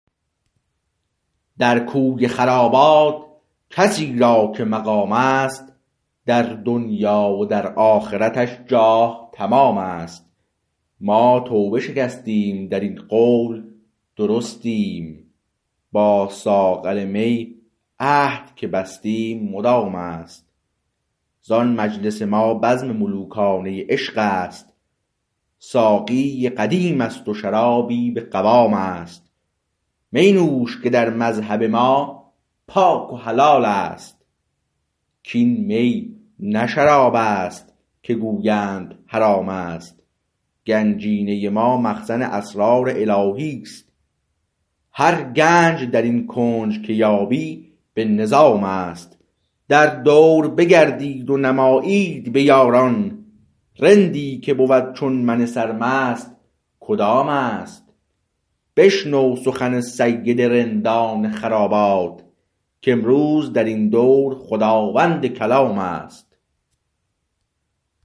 در کوی خرابات کسی را که مقام است در دنیی و در آخرتش جاه تمام است ما توبه شکستیم در این قول درستیم با ساغر می عهد که بستیم مدام است زان مجلس ما بزم ملوکانه عشق است ساقی قدیم است و شرابی به قوام است می نوش که در مذهب ما پاک و حلال است کاین می نه شرابست که گویند حرامست گنجینه ما مخزن اسرار الهی است هر گنج درین کنج که یابی به نظام است در دور بگردید و نمایید به یاران رندی که بود چون من سرمست کدامست بشنو سخن سید رندان خرابات کامروز درین دور خداوند کلام است